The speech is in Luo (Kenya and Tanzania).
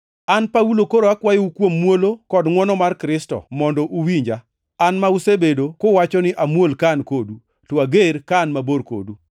An Paulo koro akwayou kuom muolo kod ngʼwono mar Kristo mondo uwinja. An ma usebedo kuwacho ni amuol ka an kodu, to ager ka an mabor kodu!